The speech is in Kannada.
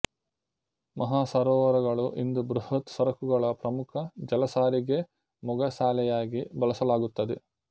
ಮಹಾಸರೋವರಗಳು ಇಂದು ಬೃಹತ್ ಸರಕುಗಳ ಪ್ರಮುಖ ಜಲ ಸಾರಿಗೆ ಮೊಗಸಾಲೆಯಾಗಿ ಬಳಸಲಾಗುತ್ತದೆ